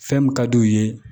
Fɛn min ka d'u ye